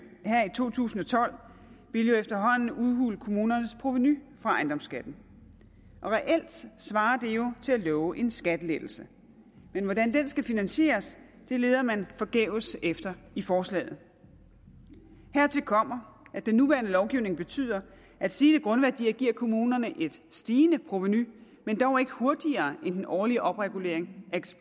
to tusind og tolv vil jo efterhånden udhule kommunernes provenu fra ejendomsskatten reelt svarer det jo til at love en skattelettelse men hvordan den skal finansieres leder man forgæves efter i forslaget hertil kommer at den nuværende lovgivning betyder at stigende grundværdier giver kommunerne et stigende provenu men dog ikke hurtigere end den årlige opregulering af